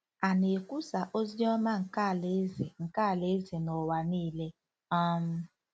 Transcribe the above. À na-ekwusa “ozi ọma nke alaeze” nke alaeze” n'ụwa niile? um